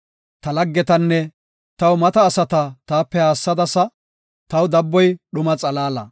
Ta laggetanne taw mata asata taape haassadasa; taw dabboy dhuma xalaala.